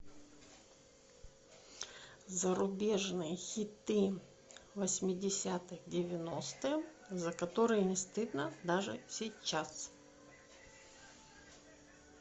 зарубежные хиты восьмидесятых девяностых за которые не стыдно даже сейчас